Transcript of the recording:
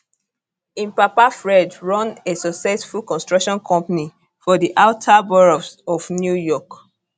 im papa fred run a successful construction company for di outer boroughs of new york